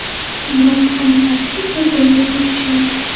Biroq qarama-qarshilik bir-biriga tortishadi.